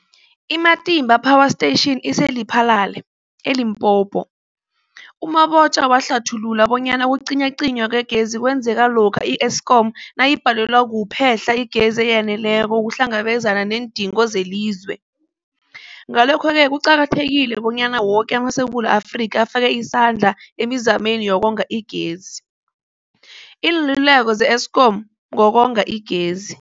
I-Matimba Power Station ise-Lephalale, eLimpopo. U-Mabotja wahlathulula bonyana ukucinywacinywa kwegezi kwenzeka lokha i-Eskom nayibhalelwa kuphe-hla igezi eyaneleko ukuhlangabezana neendingo zelizwe. Ngalokho-ke kuqakathekile bonyana woke amaSewula Afrika afake isandla emizameni yokonga igezi. Iinluleko ze-Eskom ngokonga igezi.